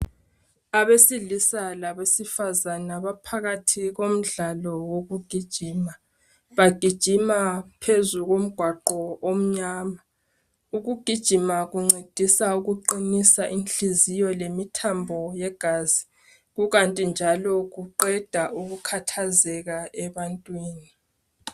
Abesilisa labesifazana baphakathi komdlalo wokugijima. Bagijima phezu komgwaqo omnyama. Ukugijima kuncedisa ukuqinisa inhliziyo lemithambo yegazi. Kukanti njalo kuqeda ukukhathazeka ebantwini.